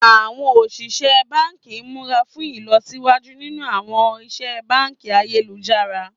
Àwọn oníṣẹ́ báǹkì múra fún ìlọsíwájú nínú àwọn ìṣe báǹkì ayélujára